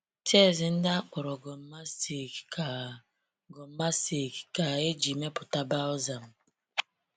Tears ndị a akpọrọ gum mastic ka gum mastic ka e ji mepụta balsam.